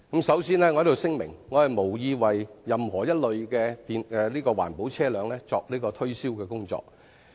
首先，我聲明我無意為任何一類環保車輛作推銷的工作。